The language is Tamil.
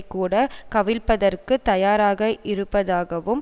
கூட கவிழ்ப்பதற்கு தயாராக இருப்பதாகவும்